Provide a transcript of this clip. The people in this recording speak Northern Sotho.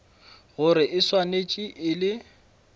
gore e swanetše e le